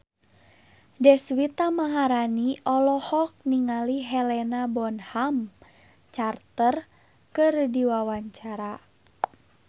Deswita Maharani olohok ningali Helena Bonham Carter keur diwawancara